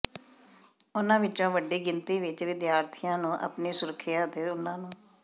ਉਨ੍ਹਾਂ ਵਿੱਚੋਂ ਵੱਡੀ ਗਿਣਤੀ ਵਿੱਚ ਵਿਦਿਆਰਥੀਆਂ ਨੂੰ ਆਪਣੀ ਸੁਰੱਖਿਆ ਅਤੇ ਉਨ੍ਹਾਂ ਨੂੰ